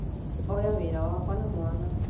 oya wĩra wakwa na mwana